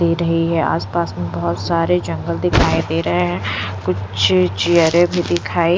दे रही है आसपास में बहुत सारे जंगल दिखाई दे रहे हैं कुछ चियरे भी दिखाई --